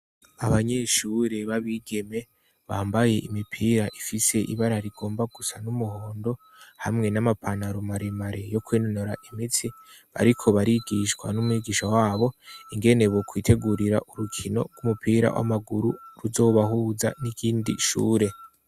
Abanyeshure b'abigeme bambaye imipira ifise ibara rigomba gusa n'umuhondo hamwe n'amapanarumaremae yo kwenunura imitsi bariko barigishwa n'umwigisha wabo ingene bo kwitegurira urukino rw'umupira w'amaguru ruzobahuza n'igindi shure.